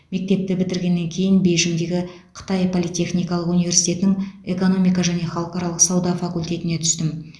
мектепті бітіргеннен кейін бейжіңдегі қытай политехникалық университетінің экономика және халықаралық сауда факультетіне түстім